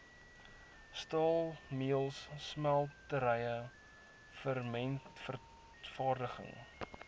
staalmeulens smelterye sementvervaardiging